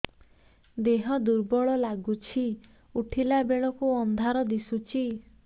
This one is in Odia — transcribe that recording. ଦେହ ଦୁର୍ବଳ ଲାଗୁଛି ଉଠିଲା ବେଳକୁ ଅନ୍ଧାର ଦିଶୁଚି